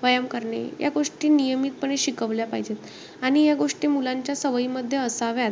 व्यायाम करणे या गोष्टी नियमितपणे शिकवल्या पाहिजेत. आणि या गोष्टी मुलांच्या सवयीमध्ये असाव्यात.